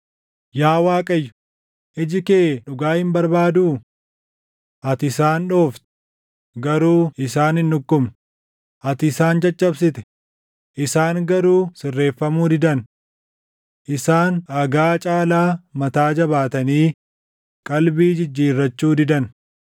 Yaa Waaqayyo, iji kee dhugaa hin barbaaduu? Ati isaan dhoofte; garuu isaan hin dhukkubne; ati isaan caccabsite; isaan garuu sirreeffamuu didan. Isaan dhagaa caalaa mataa jabaatanii qalbii jijjiirrachuu didan.